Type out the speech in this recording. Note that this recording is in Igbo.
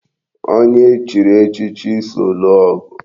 Onye e chiri echichi so lụọ ọgụ